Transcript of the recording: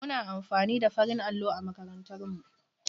Muna amfani da farin allo a makarantar mu.